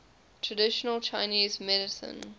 traditional chinese medicine